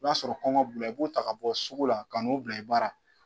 I b'a sɔrɔ kɔngɔn b'ula i b'u ta ka bɔ sugu la ka n'u bila i baara